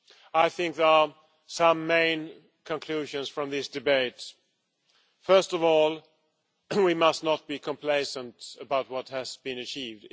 I think there are some main conclusions from these debates. First of all, we must not be complacent about what has been achieved.